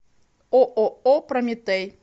ооо прометей